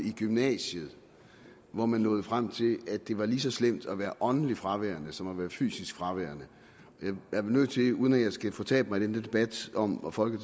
i gymnasiet hvor man nåede frem til at det var lige så slemt at være åndeligt fraværende som at være fysisk fraværende jeg er nødt til uden at jeg skal fortabe mig i den debat om om folk